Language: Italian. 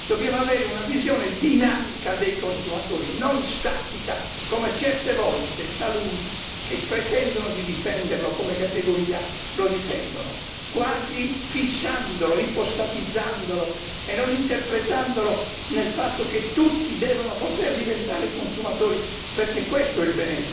Dobbiamo avere una visione dinamica dei consumatori, non statica, come fanno certe volte taluni, che pretendono di difendere i consumatori come categoria e li difendono quasi fissandoli, ipostatizzandoli e non interpretandoli nel fatto che tutti devono poter diventare consumatori, perché questo è il